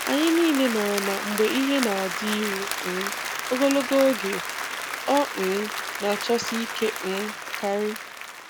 Anyị niile maara na mgbe ihe na-adịru um ogologo oge, ọ um na-achọsi ike um karị.